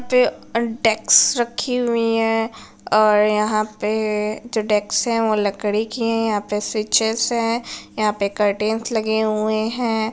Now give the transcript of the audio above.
पे अ डेक्स रखी हुई हैं और यहाँ पे जो डेक्स हैं वो लकड़ी की है। यहाँ पे स्वीचेस हैं। यहाँ पे कर्टेन्स लगे हुए हैं ।